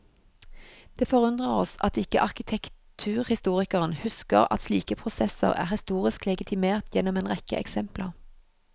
Det forundrer oss at ikke arkitekturhistorikeren husker at slike prosesser er historisk legitimert gjennom en rekke eksempler.